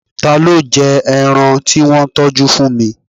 Ta ló jẹ ẹran tí wọ́n tọjú fún mi?